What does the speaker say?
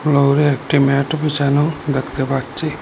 ফ্লোরে একটি ম্যাটও বিছানো দেখতে পাচ্ছি।